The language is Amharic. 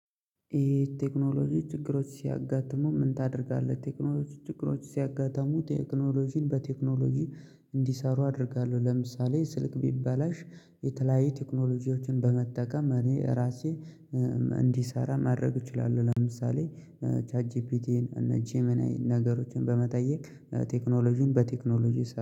የ ቴክኖሎጂ ችግሮች ሲያጋጥሙ ምን ታደርጋለህ? ቴክኖሎጂ ችግሮች ሲያጋጥሙ ቴክኖሎጂን በቴክኖሎጂ እንዲሰሩ አደርጋለሁ ለምሳሌ ስልክ ቢበላሽ የተለያየ ቴክኖሎጂዎችን በመጠቀም እኔ ራሴ እንዲሰራ ማድረግ እችላለሁ። ለምሳሌ ቻት ጂፒቲን እና ጂመናይን ነገሮችን በመጠየቅ ቴክኖሎጂን በቴክኖሎጂ